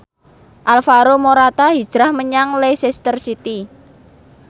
Alvaro Morata hijrah menyang Leicester City